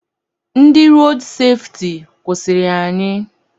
Ndị rood sefti kwụsịrị anyị.